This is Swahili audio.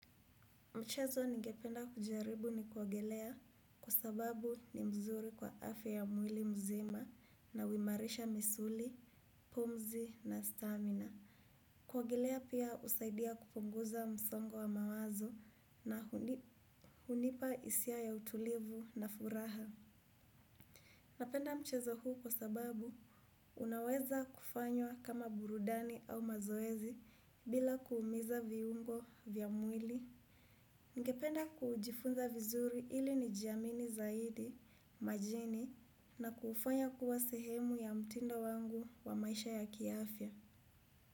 Mchezo ningependa kujaribu ni kuogelea kwa sababu ni mzuri kwa afya ya mwili mzima na huimarisha misuli, pumzi na stamina. Kuogelea pia husaidia kupunguza msongo wa mawazo na hunipa hisia ya utulivu na furaha. Napenda mchezo huu kwa sababu unaweza kufanywa kama burudani au mazoezi bila kuumiza viungo vya mwili. Ningependa kujifunza vizuri ili nijiamini zaidi, majini na kuufanya kuwa sehemu ya mtindo wangu wa maisha ya kiafya.